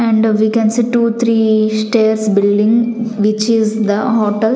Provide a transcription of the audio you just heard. and we can see two -three stairs building which is the hotel.